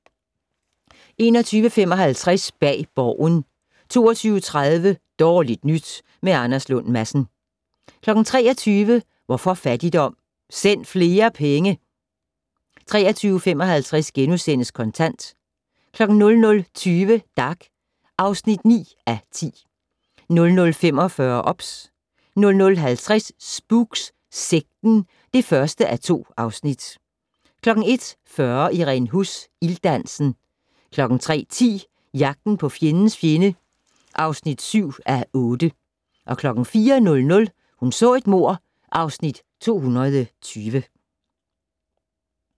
21:55: Bag Borgen 22:30: Dårligt nyt med Anders Lund Madsen 23:00: Hvorfor fattigdom? - Send flere penge! 23:55: Kontant * 00:20: Dag (9:10) 00:45: OBS 00:50: Spooks: Sekten (1:2) 01:40: Irene Huss: Ilddansen 03:10: Jagten på fjendens fjende (7:8) 04:00: Hun så et mord (Afs. 220)